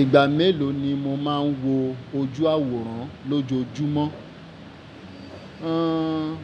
Ìgbà mélòó ni mo máa ń wo ojú àwòrán lójoojúmọ́? Ẹ́n,